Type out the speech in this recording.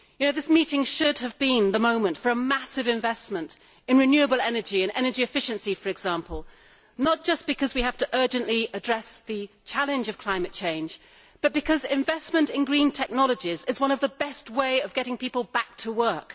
That meeting should have been the moment for a massive investment in renewable energy and energy efficiency, for example, not just because we have to urgently address the challenge of climate change, but because investment in green technologies is one of the best ways of getting people back to work.